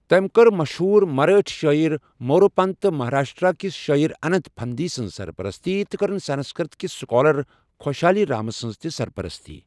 تٔمۍ کٔر مشہور مرٲٹھۍ شٲعر موروپنت تہٕ مہاراشٹرا کس شٲعر اننت پھندی سنٛز سرپرستی تہٕ کٔرٕن سنسکرٛت کس سکالر خوشحالی رام سنٛز تہِ سرپرستی۔